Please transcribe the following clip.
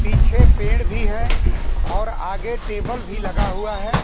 पीछे पेड़ भी है और आगे टेबल भी लगा हुआ है।